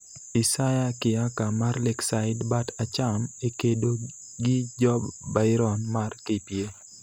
Isaya Kiyaka mar Lakeside (bat acham) e kedo gi Job Byron mar KPA.